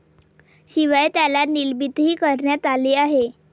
शिवाय त्याला निलंबितही करण्यात आले आहे.